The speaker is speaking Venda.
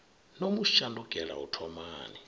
no mu shandukela u thomani